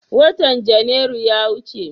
Watan Janairu ya wuce.